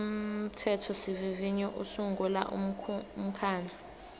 umthethosivivinyo usungula umkhandlu